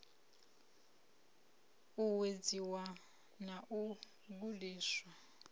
u uwedziwe na u gudiswa